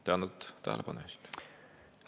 Tänan tähelepanu eest!